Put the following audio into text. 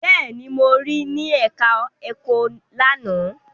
Bẹ́ẹ̀ni, mo rí ní ẹ̀ká ẹ̀kọ́ lánàá